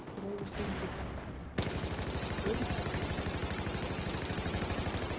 Grófust undir aurskriðu